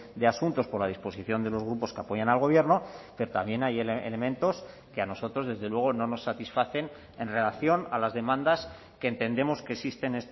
de asuntos por la disposición de los grupos que apoyan al gobierno pero también hay elementos que a nosotros desde luego no nos satisfacen en relación a las demandas que entendemos que existen